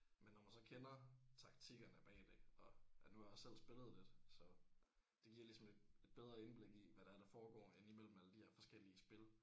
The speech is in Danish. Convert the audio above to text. Men når man så kender taktikkerne bag det og ja nu har jeg selv spillet lidt så det giver ligesom et et bedre indblik i hvad det er der foregår ind imellem alle de her forskellige spil